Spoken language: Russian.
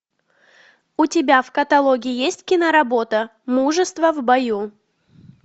у тебя в каталоге есть киноработа мужество в бою